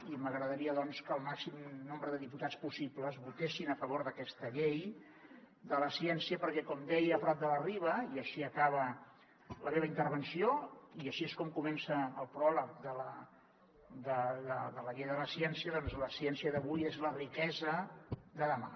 i m’agradaria doncs que el màxim nombre de diputats possibles votessin a favor d’aquesta llei de la ciència perquè com deia prat de la riba i així acaba la meva intervenció i així és com comença el pròleg de la llei de la ciència la ciència d’avui és la riquesa de demà